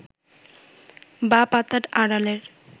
বা পাতার আড়ালের